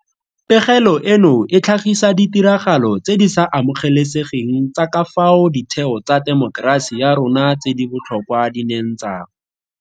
Pegelo eno e tlhagisa ditiragalo tse di sa amogelesegeng tsa ka fao ditheo tsa temokerasi ya rona tse di botlhokwa di neng tsa.